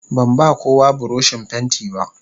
Ban ba kowa buroshin fenti ba.